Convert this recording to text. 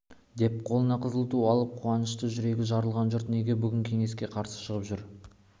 деп қолына қызыл ту алып қуаныштан жүрегі жарылған жұрт неге бүгін кеңеске қарсы шығып жүр